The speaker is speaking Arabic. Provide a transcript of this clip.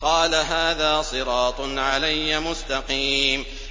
قَالَ هَٰذَا صِرَاطٌ عَلَيَّ مُسْتَقِيمٌ